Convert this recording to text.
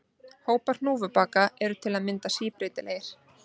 Hópar hnúfubaka eru til að mynda síbreytilegir.